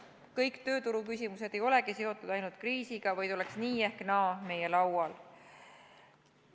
Kõik tööturuküsimused ei olegi seotud ainult kriisiga, vaid oleks nii ehk naa meie laual.